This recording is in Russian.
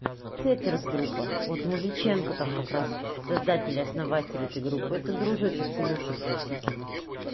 хетерс группа вот музыченко там как раз создатель основатель этой группы это дружочек илюши прусикина